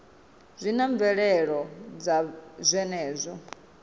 zwi na mvelelo dza zwenezwo